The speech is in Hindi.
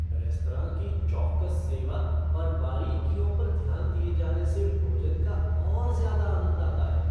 रेस्तरां की चौकस सेवा और बारीकियों पर ध्यान दिए जाने से भोजन का और ज्यादा आनंद आता है।